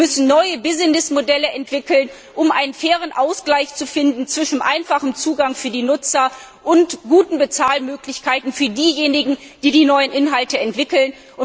Wir müssen neue Geschäftsmodelle entwickeln, um einen fairen Ausgleich zu finden zwischen einfachem Zugang für die Nutzer und guter Bezahlung derjenigen, die die neuen Inhalte entwickeln.